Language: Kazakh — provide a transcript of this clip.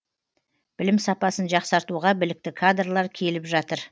білім сапасын жақсартуға білікті кадрлар келіп жатыр